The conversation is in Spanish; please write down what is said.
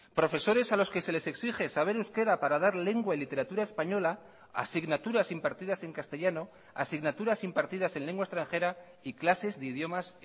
profesores a los que se les exige saber euskera para dar lengua y literatura española asignaturas impartidas en castellano asignaturas impartidas en lengua extranjera y clases de idiomas